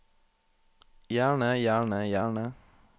gjerne gjerne gjerne